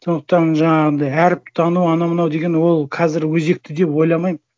сондықтан жаңағындай әріп тану анау мынау деген ол қазір өзекті деп ойламаймын